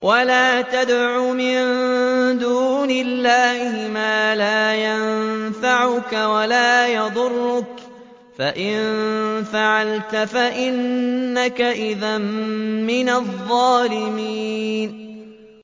وَلَا تَدْعُ مِن دُونِ اللَّهِ مَا لَا يَنفَعُكَ وَلَا يَضُرُّكَ ۖ فَإِن فَعَلْتَ فَإِنَّكَ إِذًا مِّنَ الظَّالِمِينَ